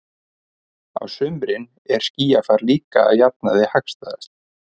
Á sumrin er skýjafar líka að jafnaði hagstæðast.